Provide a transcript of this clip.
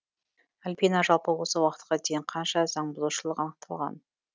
альбина жалпы осы уақытқа дейін қанша заңбұзушылық анықталған